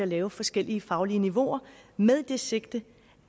lave forskellige faglige niveauer med det sigte